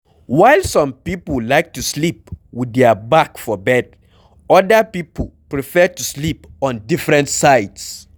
While some pipo like to sleep with their back for bed, oda pipo prefer to sleep on different sides